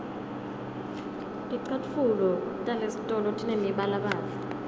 ticatfulo talesitolo tinemibalabala